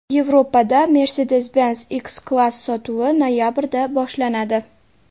Yevropada Mercedes-Benz X-Class sotuvi noyabrda boshlanadi.